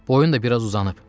Boyun da biraz uzanıb.